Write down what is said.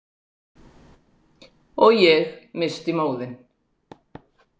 Og ég missti móðinn.